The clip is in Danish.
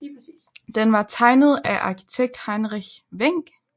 Den var tegnet af arkitekt Heinrich Wenck